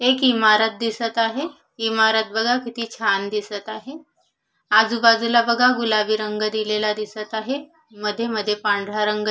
एक इमारत दिसत आहे इमारत बघा किती छान दिसत आहे आजूबाजूला बघा गुलाबी रंग दिलेला दिसत आहे मध्ये मध्ये पांढरा रंग--